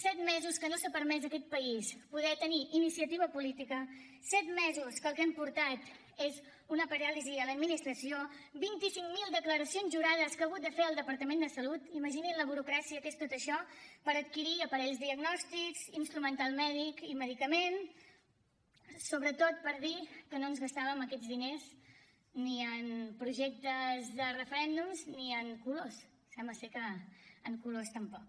set mesos en què no s’ha permès a aquest país poder tenir iniciativa política set mesos que el que han portat és una paràlisi a l’administració vint i cinc mil declaracions jurades que ha hagut de fer el departament de salut imaginin la burocràcia que és tot això per adquirir aparells diagnòstics instrumental mèdic i medicaments sobretot per dir que no ens gastàvem aquests diners ni en projectes de referèndums ni en colors sembla ser que en colors tampoc